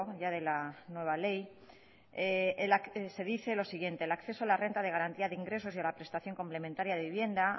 ya de la nueva ley se dice lo siguiente el acceso a la renta de garantía de ingresos y a la prestación complementaria de vivienda han